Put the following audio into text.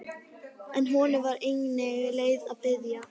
En honum var engin leið að biðja.